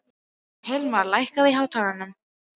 Hilmar, lækkaðu í hátalaranum.